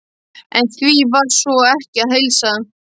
En því var sko ekki að heilsa.